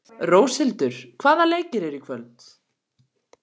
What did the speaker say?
Róshildur, hvaða leikir eru í kvöld?